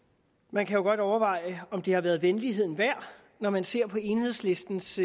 man kan jo godt overveje om det har været venligheden værd når man ser på enhedslistens